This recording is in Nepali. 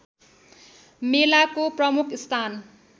मेलाको प्रमुख स्थान